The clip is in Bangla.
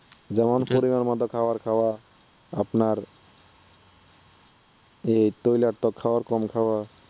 যেমন নিয়মিত খাবার খাওয়া, আপনার এই তৈলাক্ত খাবার কম খাওয়া